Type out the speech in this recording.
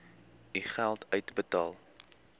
u geld uitbetaal